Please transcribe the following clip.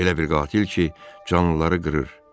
Elə bir qatil ki, canlıları qırır.